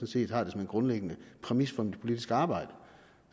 set har det som en grundlæggende præmis for mit politiske arbejde